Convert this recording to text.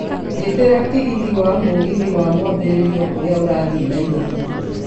njĩtĩria tigiti wa mũgithi wa mwambĩriĩrio ũria ũrathiĩ nairobi